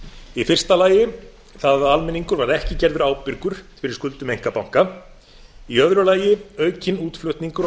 í fyrsta lagi það að almenningur var ekki gerður ábyrgur fyrir skuldum einkabanka í öðru lagi aukinn útflutningur og